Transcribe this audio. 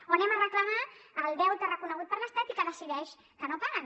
o anem a reclamar el deute reconegut per l’estat i que decideix que no paguen